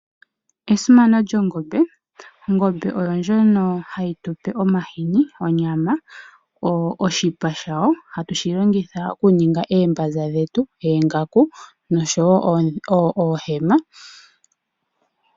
Esimano lyongombe, ongombe oyo ndjono hayi tupe omashini, onyama nosho woo oshipa shawo shoka hashi longithwa okuninga oombaza dhetu, oongaku nosho woo oohema.